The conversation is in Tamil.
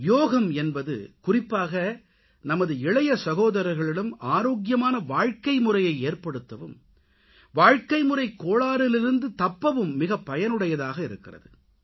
யோகம் என்பது குறிப்பாக நமது இளையசகோதரர்களிடம் ஆரோக்கியமான வாழ்க்கைமுறையை ஏற்படுத்தவும் வாழ்க்கைமுறைக் கோளாறிலிருந்து தப்பவும் மிக பயனுடையதாக இருக்கிறது